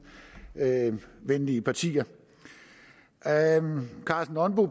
venlige partier herre karsten nonbo